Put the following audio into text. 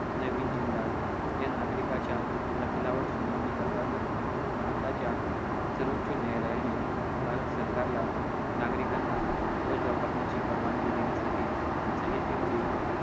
नवीन जिंदाल या नागरिकाच्या अशीलावर सुनावणी करताना भारताच्या सर्वोच्य न्यायालयाने भारत सरकारला नागरिकांना ध्वज वापरण्याची परवानगी देण्यासाठी संहितांमधें